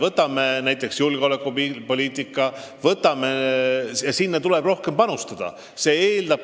Võtame näiteks julgeolekupoliitika, kuhu tuleb rohkem panustada.